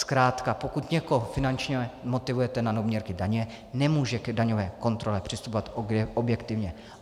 Zkrátka pokud někoho finančně motivujete na doměrky daně, nemůže k daňové kontrole přistupovat objektivně.